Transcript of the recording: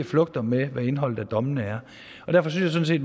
flugter med indholdet af dommene derfor synes jeg